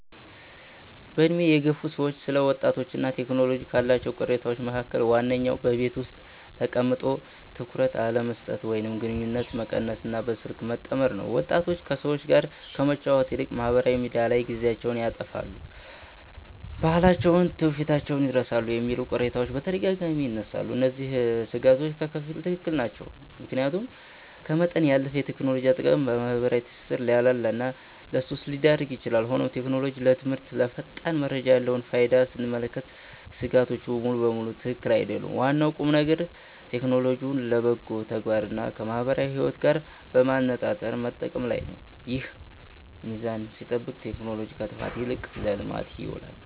በዕድሜ የገፉ ሰዎች ስለ ወጣቶችና ቴክኖሎጂ ካሏቸው ቅሬታዎች መካከል ዋነኛው በቤት ውስጥ ተቀምጦ ትኩረት አለመስጠት ወይም ግንኙነት መቀነስና በስልክ መጠመድ ነው። ወጣቶች ከሰዎች ጋር ከመጫወት ይልቅ ማኅበራዊ ሚዲያ ላይ ጊዜያቸውን ያጠፋሉ፣ ባህላቸውንና ትውፊታቸውን ይረሳሉ የሚሉ ቅሬታዎች በተደጋጋሚ ይነሳሉ። እነዚህ ሥጋቶች በከፊል ትክክል ናቸው፤ ምክንያቱም ከመጠን ያለፈ የቴክኖሎጂ አጠቃቀም ማኅበራዊ ትስስርን ሊያላላና ለሱስ ሊዳርግ ይችላል። ሆኖም ቴክኖሎጂ ለትምህርትና ለፈጣን መረጃ ያለውን ፋይዳ ስንመለከት ሥጋቶቹ ሙሉ በሙሉ ትክክል አይደሉም። ዋናው ቁምነገር ቴክኖሎጂውን ለበጎ ተግባርና ከማኅበራዊ ሕይወት ጋር በማመጣጠር መጠቀም ላይ ነው። ይህ ሚዛን ሲጠበቅ ቴክኖሎጂ ከጥፋት ይልቅ ለልማት ይውላል።